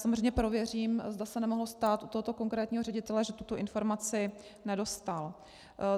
Samozřejmě prověřím, zda se nemohlo stát u tohoto konkrétního ředitele, že tuto informaci nedostal.